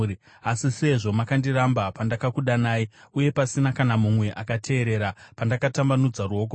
Asi sezvo makandiramba pandakakudanai uye pasina kana mumwe akateerera pandakatambanudza ruoko rwangu,